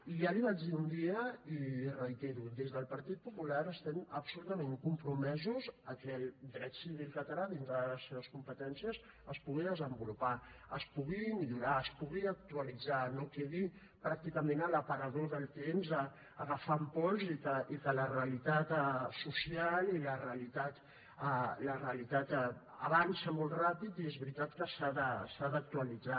i ja l’hi vaig dir un dia i ho reitero des del partit popular estem absolutament compromesos a que el dret civil català dintre de les seves competències es pugui desenvolupar es pugui millorar es pugui actualitzar no quedi pràcticament a l’aparador del temps agafant pols i que la realitat social i la realitat avança molt ràpid i és veritat que s’ha d’actualitzar